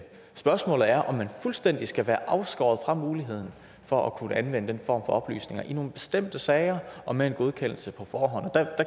spørgsmålet er om man fuldstændig skal være afskåret fra muligheden for at kunne anvende den for oplysninger i nogle bestemte sager og med en godkendelse på forhånd og der